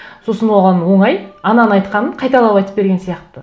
сосын оған оңай ананың айтқанын қайталап айтып берген сияқты